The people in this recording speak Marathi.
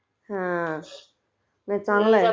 हा...नाही चांगलं आहे